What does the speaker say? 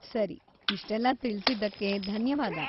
ಸರಿ, ಇಷ್ಟೆಲ್ಲ ತಿಳ್ಸಿದ್ದಕ್ಕೆ ಧನ್ಯವಾದ.